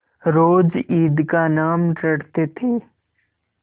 रोज ईद का नाम रटते थे